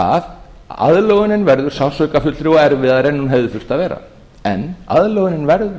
að aðlögunin verður sársaukafyllri og erfiðari en hún hefði þurft að vera en aðlögunin verður að verða